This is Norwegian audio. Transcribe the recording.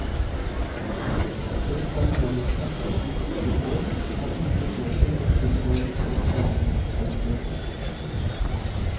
Økt personellinnsats de siste år har ikke ført til tilsvarende økt behandlingskapasitet.